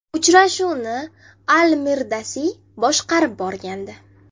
Uchrashuvni Al-Mirdasiy boshqarib borgandi.